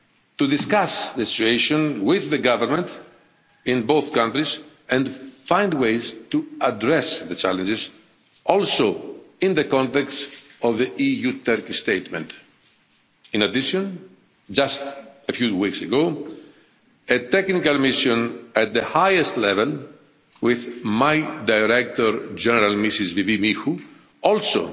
to discuss the situation with the government in both countries and find ways to address the challenges also in the context of the EU Turkey statement. In addition, just a few weeks ago, a technical mission at the highest level, with my Director General, Ms Paraskevi Michou, also